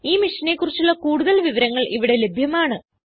ഈ മിഷനെ കുറിച്ചുള്ള കുടുതൽ വിവരങ്ങൾ ഇവിടെ ലഭ്യമാണ്